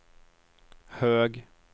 hög